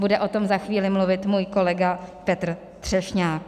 Bude o tom za chvíli mluvit můj kolega Petr Třešňák.